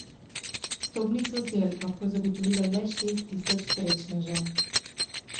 Vstopnico si je lahko zagotovilo le šest tisoč srečnežev.